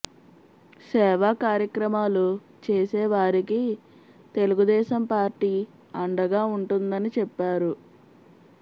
సేవా కార్యక్రమాలు చేసే వారికి తెలుగుదేశం పార్టీ అండగా ఉంటుందని చెప్పారు